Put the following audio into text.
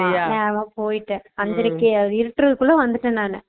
நேரமா போயிட்டான் அஞ்சறைக்கு இருட்டற குள்ள வந்துட்டான் நானு